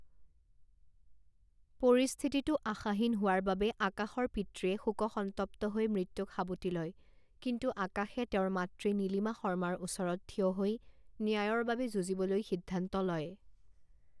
পৰিস্থিতিটো আশাহীন হোৱাৰ বাবে আকাশৰ পিতৃয়ে শোকসন্তপ্ত হৈ মৃত্যুক সাবটি লয় কিন্তু আকাশে তেওঁৰ মাতৃ নীলিমা শৰ্মাৰ ওচৰত থিয় হৈ ন্যায়ৰ বাবে যুঁজিবলৈ সিদ্ধান্ত লয়।